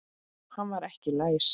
Hann var ekki læs.